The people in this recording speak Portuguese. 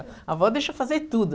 A avó deixa fazer tudo.